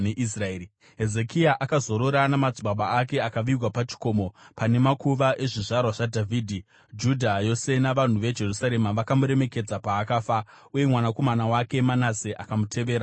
Hezekia akazorora namadzibaba ake akavigwa pachikomo pane makuva ezvizvarwa zvaDhavhidhi. Judha yose navanhu veJerusarema vakamuremekedza paakafa. Uye mwanakomana wake Manase akamutevera paumambo.